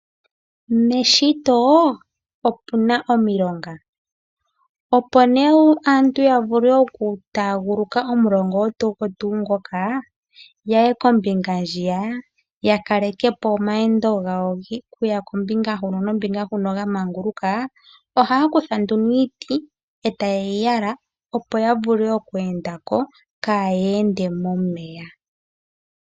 Meshito opuna omilonga. Opo nee aantu yavule oku taaguluka omulonga ogwo tuu ngoka yaye kombinga ndjiya ,ya kalekepo omalweendo gawo okuya kombinga huno nokuya kombinga huka yamanguluka ,ohaya kutha nduno iiti etayeyi yalako opo yavule oku endako kaya ende momeya.